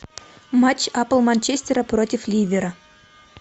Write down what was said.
матч апл манчестера против ливера